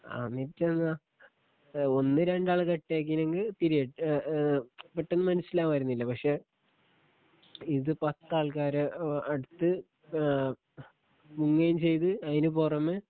അന്നിട്ടെന്താ ഒന്ന് രണ്ടാള് കട്ടാക്കിനങ്ക് പിരിയഡ് ഏ ഏ പെട്ടെന്ന് മനസ്സിലാവാര്ന്നില പക്ഷെ ഇത് പത്താൾക്കാര് ഏ അട്ത്ത് ഏ മുങ്ങേ ചെയ്‌ത്‌ അതിന് പൊറമെ